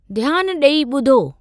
ध्यानु डे॒ई ॿुधो!